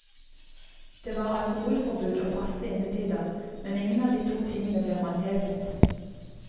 Det var alkoholforbud og faste innetider, men ingen av de to tingene ble håndhevet.